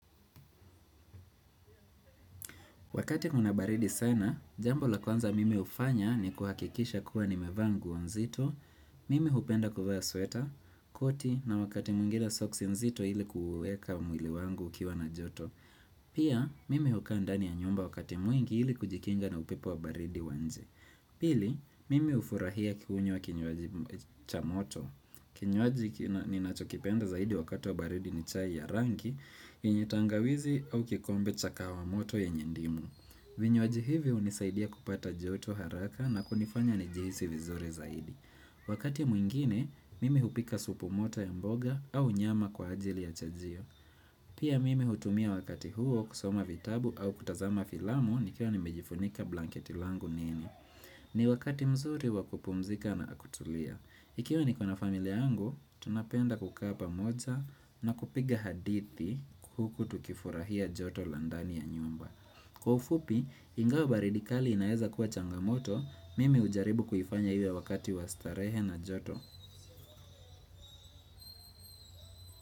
Wakati kuna baridi sana, jambo la kwanza mimi hufanya ni kuhakikisha kuwa nimevaa nguo nzito, mimi hupenda kuvaa sweta, koti na wakati mwingine socks nzito ili kuweka mwili wangu ukiwa na joto. Pia, mimi hukaa ndani ya nyumba wakati mwingi ili kujikinga na upepo wa baridi wa nje. Pili, mimi hufurahia kunywa kinywaji cha moto. Kinywaji ninachokipenda zaidi wakati wa baridi ni chai ya rangi, yenye tangawizi au kikombe cha kahawa moto yenye ndimu. Vinywaji hivi hunisaidia kupata joto haraka na kunifanya nijihisi vizuri zaidi. Wakati mwingine, mimi hupika supu moto ya mboga au nyama kwa ajili ya chajio. Pia mimi hutumia wakati huo kusoma vitabu au kutazama filamu nikiwa nimejifunika blanketi langu nini. Ni wakati mzuri wa kupumzika na kutulia. Ikiwa niko na familia yangu, tunapenda kukaa pamoja na kupiga hadithi huku tukifurahia joto la ndani ya nyumba. Kwa ufupi, ingawa baridi kali inaeza kuwa changamoto, mimi hujaribu kuifanya iwe wakati wa starehe na joto.